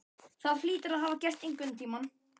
Það hlýtur að hafa gerst einhvern tíma.